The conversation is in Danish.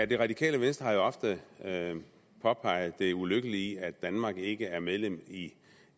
det radikale venstre har jo ofte påpeget det ulykkelige i at danmark ikke er medlem af